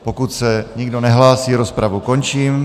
Pokud se nikdo nehlásí, rozpravu končím.